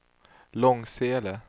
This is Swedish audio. Långsele